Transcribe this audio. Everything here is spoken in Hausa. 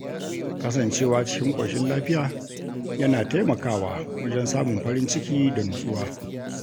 Kasancewa cikin ƙoshin lafiya yana taimakawa wajen samun farin ciki da nutsuwa.